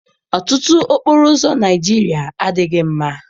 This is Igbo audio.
Ọtụtụ okporoụzọ Naịjirịa adịghị mma.